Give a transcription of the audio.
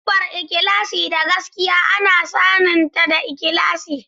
Siffar ikhlasi da gaskiya ana saninta da ikhlasi.